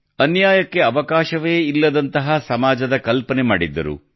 ಅನ್ಯಾಯಕ್ಕೆ ಅವಕಾಶವೇ ಇಲ್ಲದಂತಹ ಸಮಾಜದ ಕಲ್ಪನೆ ಮಾಡಿದ್ದರು